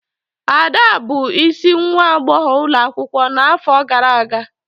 Ada bụ isi nwa agbọghọ ulo akwukwo nʻafọ gara aga.